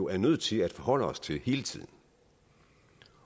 er nødt til at forholde os til hele tiden